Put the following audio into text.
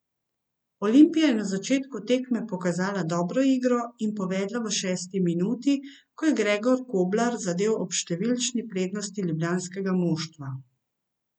Olimpija je na začetku tekme pokazala dobro igro in povedla v šesti minuti, ko je Gregor Koblar zadel ob številčni prednosti ljubljanskega moštva.